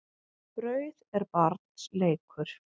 Brauð er barns leikur.